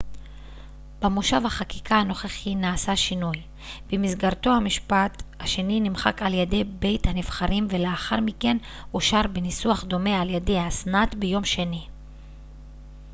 במושב החקיקה הנוכחי נעשה שינוי במסגרתו המשפט השני נמחק על ידי בית הנבחרים ולאחר מכן אושר בניסוח דומה על ידי הסנאט ביום שני